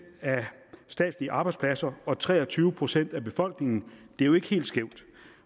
af statslige arbejdspladser og tre og tyve procent af befolkningen det er jo ikke helt skævt